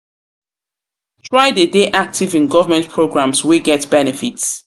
try de dey active in government programs wey get benefits